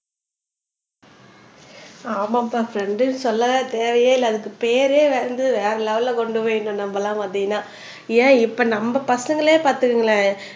ஆமாப்பா ஃப்ரண்ட்ன்னு சொல்லவே தேவையே இல்ல அதுக்கு பெயரே வந்து வேற லெவல்ல கொண்டு போயிடும் நம்மளலாம் பார்த்திங்கன்னா ஏன் இப்ப நம்ம பசங்களே பார்த்துக்குங்களேன்